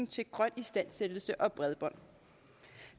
til grøn istandsættelse og bredbånd